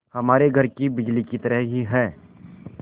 हमारे घर की बिजली की तरह ही है